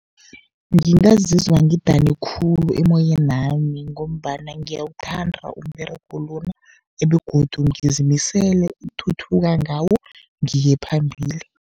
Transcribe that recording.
Ngingazizwa ngidane khulu emoyeni wami, ngombana ngiyawuthanda umberego lona begodu ngizimisele ukuthuthuka ngawo ngiye phambili.